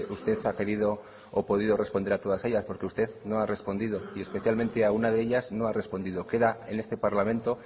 usted ha querido o podido responder a todas ellas porque usted no ha respondido y especialmente a una de ellas no ha respondido queda en este parlamento